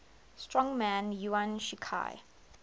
strongman yuan shikai